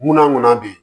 Munna ŋana be ye